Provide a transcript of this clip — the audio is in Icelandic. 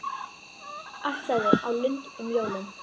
Ætlaði á Lund um jólin.